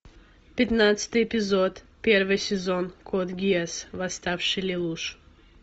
пятнадцатый эпизод первый сезон код гиас восставший лелуш